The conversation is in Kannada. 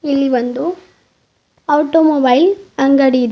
ಇಲ್ಲಿ ಒಂದು ಆಟೊಮೊಬೈಲ್ ಅಂಗಡಿ ಇದೆ.